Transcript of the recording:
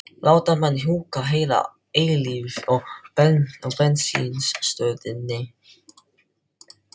láta mann húka heila eilífð á bensínstöðinni.